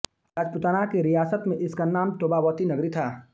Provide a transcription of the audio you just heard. राजपूताना की रियासत में इसका नाम तोबावती नगरी था